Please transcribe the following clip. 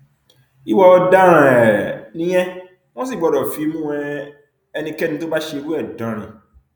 ìwà ọdaràn um nìyẹn wọn sì gbọdọ fimú um ẹnikẹni tó bá ṣerú ẹ dánrin